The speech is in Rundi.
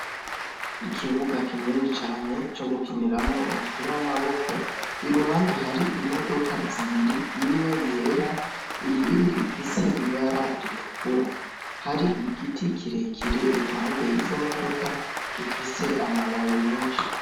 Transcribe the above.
Ikibuga kinini cane co gukiniramwo umupira w'amaboko, iruhande hari imodoka zibiri imwe yera iyindi ifise ibara ritukura, hari igiti kirekire iruhande y'izo modoka gifise amababi menshi.